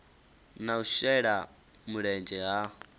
na u shela mulenzhe ha